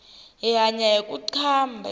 hi hanya hiku qambha